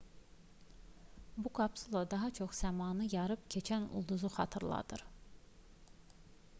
bu kapsula daha çox səmanı yarıb keçən ulduzu xatırladır